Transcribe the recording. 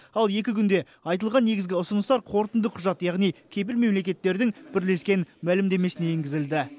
ал екі күнде айтылған негізгі ұсыныстар қорытынды құжат яғни кепіл мемлекеттердің бірлескен мәлімдемесіне енгізілді